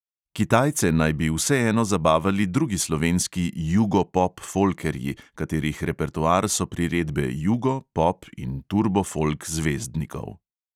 Kitajce naj bi vseeno zabavali drugi slovenski jugo-pop-folkerji, katerih repertoar so priredbe jugo, pop in turbo folk zvezdnikov.